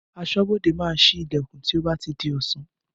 Aṣọ́bodè máa síí Ìlẹ̀kùn tí ó bá ti di ọ̀sán